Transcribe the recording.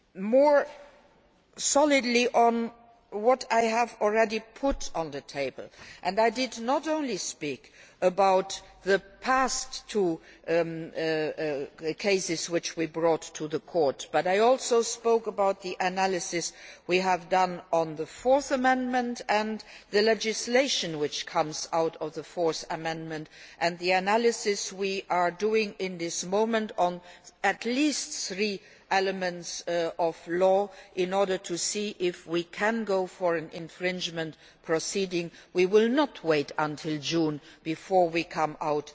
More specifically on what I have already put on the table I did not only speak about the past two cases which we brought to the court, I also spoke about the analysis we have done on the Fourth Amendment, the legislation which comes out of the Fourth Amendment and the analysis we are doing at the moment on at least three elements of law in order to see if we can go for infringement proceedings. We will not wait until June before we embark on